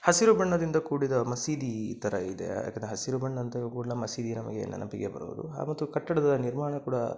ಹಸಿರು ಬಣ್ಣದಿಂದ ಕೂಡಿದ ಮಸೀದಿ ಈ ತರ ಇದೆ. ಯಾಕೆಂದ್ರೆ ಹಸಿರು ಬಣ್ಣದ ಮಸೀದಿ ನಮಗೆ ನೆನಪಿಗೆ ಬರುವುದು ಹಾಗು ಕಟ್ಟಡದ ನಿರ್ಮಾಣ ಕೂಡ--